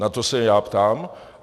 Na to se já ptám.